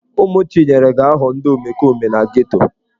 Ụmụ Chinyere ga-aghọ ndị omekome na geto.